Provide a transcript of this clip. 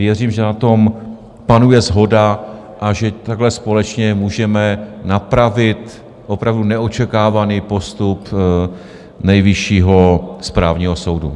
Věřím, že na tom panuje shoda a že takhle společně můžeme napravit opravdu neočekávaný postup Nejvyššího správního soudu.